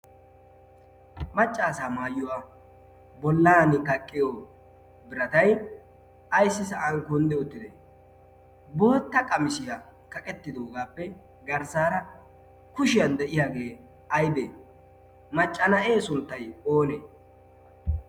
Maccaasa maayuwaa bolan kaqiyo biratai aissi sa'an kundde uttda bootta qamisiyaa kaqettidagaappe garssaara kushiyan de'yaagee aybee maccana'ee sunttai onee